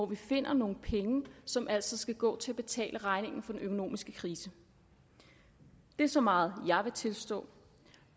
vi finder nogle penge som altså skal gå til at betale regningen for den økonomiske krise det er så meget jeg vil tilstå